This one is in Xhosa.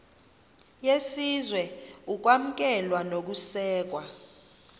yesizwe ukwamkelwa nokusekwa